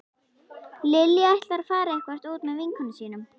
Lilja ætlar að fara eitthvert út með vinkonum sínum